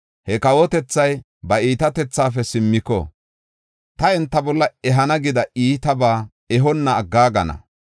he kawotethay ba iitatethaafe simmiko, ta enta bolla ehana gida iitabaa ehonna aggaagana.